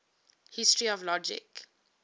history of logic